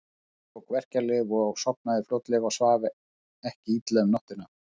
Finnur tók verkjalyf og sofnaði fljótlega og svaf ekki illa um nóttina.